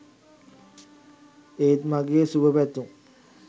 ඒත් මගේ සුබ පැතුම්